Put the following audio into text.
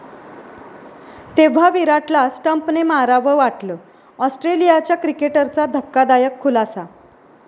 तेव्हा' विराटला स्टंपने मारावं वाटलं, आॅस्ट्रेलियाच्या क्रिकेटरचा धक्कादायक खुलासा